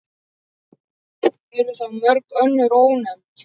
Eru þá mörg önnur ónefnd.